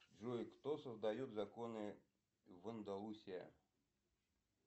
джой кто создает законы в андалусия